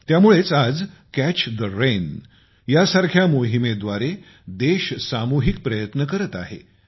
त्या मुळेच आज कॅच ठे रेन सारख्या मोहिमेद्वारे देश सामूहिक प्रयत्न करत आहे